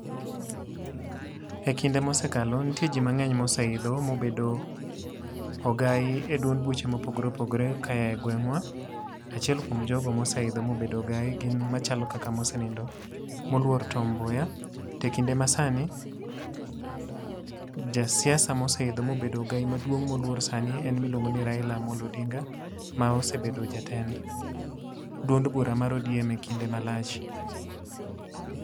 E kinde mosekalo, nitie ji mangény moseidho mobedo ogai e duond buche mopogore opogore kayae gwengwa. Achiel kuom jogo moseidho mobedo ogai gin machalo kaka mosenindo moluor Tom Mboya, To e kinde ma sani, ja siasa moseidho ma obedo ogai maduong' sani en miluongoni Raila Amollo Odinga, ma osebedo jatend duond bura mar ODM e kinde malach .